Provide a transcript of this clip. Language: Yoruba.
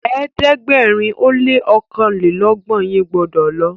ẹ̀ẹ́dẹ̀gbẹ̀rin o lẹ ní okanlelogbon yín gbódò lo.!